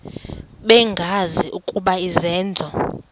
bengazi ukuba izenzo